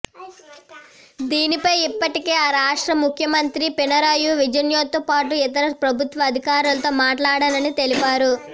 దీనిపై ఇప్పటికే ఆ రాష్ట్ర ముఖ్యమంత్రి పినరయి విజయన్తో పాటు ఇతర ప్రభుత్వ అధికారులతో మాట్లాడానని తెలిపారు